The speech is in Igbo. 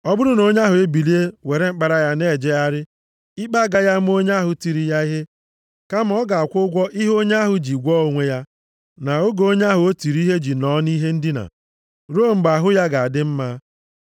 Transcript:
ọ bụrụ na onye ahụ ebilie were mkpara ya na-ejegharị, ikpe agaghị ama onye ahụ tiri ya ihe, kama ọ ga-akwụ ụgwọ ihe onye ahụ ji gwọọ onwe ya, na oge onye ahụ o tiri ihe ji nọọ nʼihe ndina, ruo mgbe ahụ ya ga-adị mma.